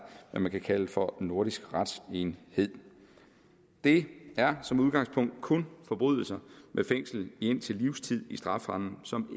hvad man kan kalde for nordisk retsenhed det er som udgangspunkt kun forbrydelser med fængsel indtil livstid i strafferammen som